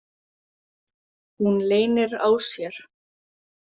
Hún leynir á sér.